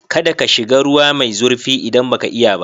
Kada ka shiga ruwa mai zurfi idan baka iya ba.